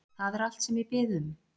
Það er allt sem ég bið um